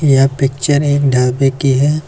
यह पिक्चर एक ढाबे की है।